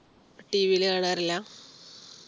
tv ലു കാണാറില്ല